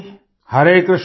Hare Krishna